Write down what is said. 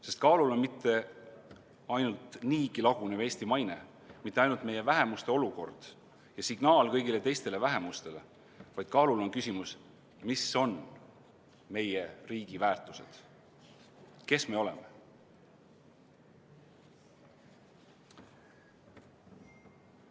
Sest kaalul on mitte ainult niigi lagunev Eesti maine, mitte ainult meie vähemuste olukord ja signaal kõigile teistele vähemustele, vaid kaalul on küsimus, mis on meie riigi väärtused, kes me oleme.